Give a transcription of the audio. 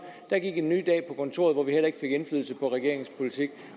der gik endnu en dag på kontoret hvor vi heller ikke fik indflydelse på regeringens politik